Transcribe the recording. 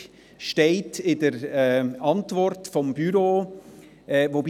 Diese steht in der Antwort des Büros.